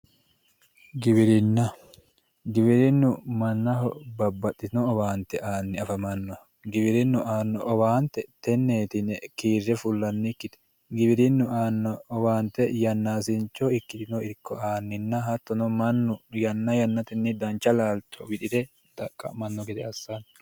Giwirinna, giwirinnu mannaho babbaxino owaante aani afamanoha giwirinu aano owaante teneti yinne kiire fulannikkite, giwirinu owaante yannasicho ikko aani hattono mannu yanna yannatenni dancha laalicho wixire xaqa'mano gede assanonke.